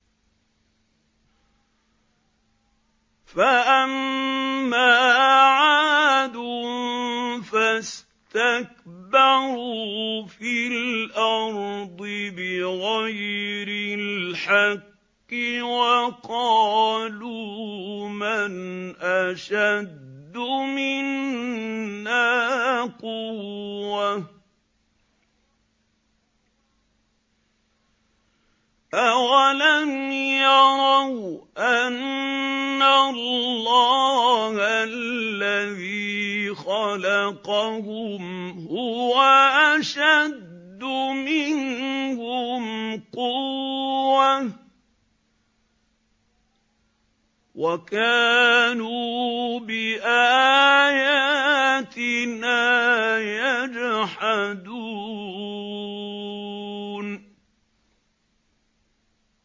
فَأَمَّا عَادٌ فَاسْتَكْبَرُوا فِي الْأَرْضِ بِغَيْرِ الْحَقِّ وَقَالُوا مَنْ أَشَدُّ مِنَّا قُوَّةً ۖ أَوَلَمْ يَرَوْا أَنَّ اللَّهَ الَّذِي خَلَقَهُمْ هُوَ أَشَدُّ مِنْهُمْ قُوَّةً ۖ وَكَانُوا بِآيَاتِنَا يَجْحَدُونَ